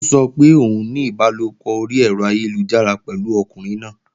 Ó sọ pé òun ní ìbálòpọ̀ orí ẹ̀rọ ayélujára pẹ̀lú ọkùnrin náà